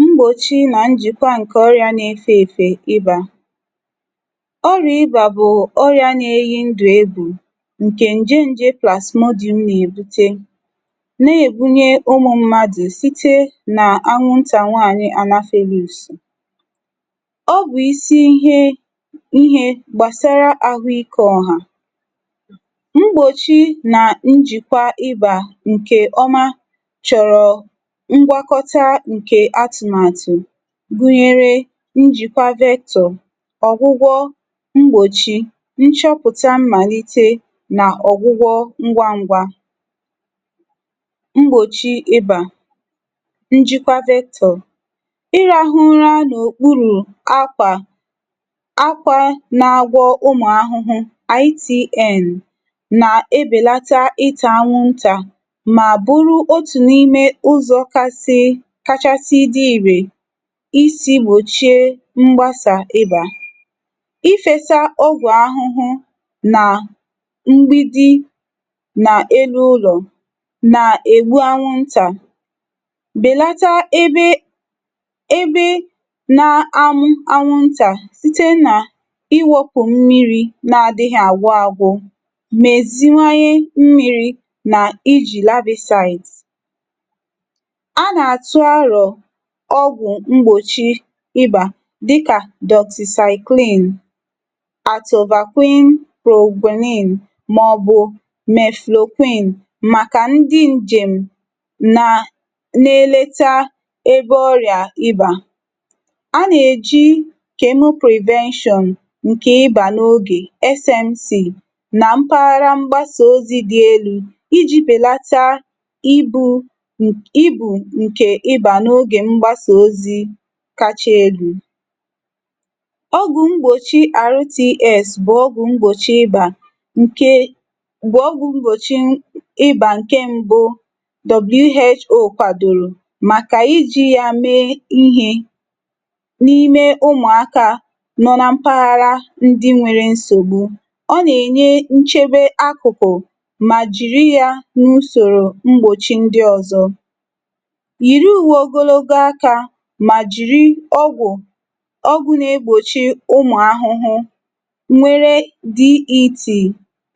Mgbochi na njikwa nke ọrịa na-efe efe ị́bà. Ọrịa ị́bà bụ ọrịa na-eyi ndụ égwù nke njẹ́ njẹ́ plasmodium na-ebute na-ebunye ụmụ mmadụ sitr na anwụnta nwaanyị Anafelus. Ọ bụ isi ihe ihe gbasara ahụike ọ̀hà. Mgbochi na njikwa nke ọma chọrọ ngwakọta nke atụmatụ gụnyere njikwa vector, ọgwụgwọ, mgbochi, nchọpụta mmalite na ọgwụgwọ ngwa ngwa. Mgbochi Ị́bà. Njikwa Vector. Ị rahụ ụra n'okpuru ákwà akwa na-agwọ ụmụ ahụhụ (ITN) na-ebelata ịta anwụnta ma bụrụ otu n'ime ụzọ kasị kachasị dị irè iji gnochie mgbasa ị́bà, ifesa ọgwụ ahụhụ na mgbidi na elu ụlọ na-egbu anwụnta belata ebe ebe na-amụ́ anwụnta site na iwepụ mmiri na-adịghị agwụ agwụ, meziwanye mmiri na iji larvicides. A na-atụ aro ọgwụ mgbochi ị́bà dịka doxycycline, atovaquone proguanil maọbụ mefloquine maka ndị njem na na-eleta ọrịa ị́bà. A na-eji Chemo Prevention nke ịba n'oge (SMC) na mpaghara mgbasa ozi dị elu iji belata ibú ibù nke ị́bà n'oge mgbasa ozi kacha elu. Ọgwụ mgbochi RTS bụ ọgwụ mgbochi ị́bà nke bụ ọgwụ mgbochi ị́bà nke mbụ WHO kwadoro maka iji ya mee ihe n'ime ụmụaka nọ na mpaghara ndị nwere nsogbu. Ọ na-enye nchebe akụkụ ma jiri ya n'usoro mgbochi ndị ọzọ. Yiri uwe ogologo aka ma jiri ọgwụ ọgwụ na-egbochi ụmụ ahụhụ nwere DET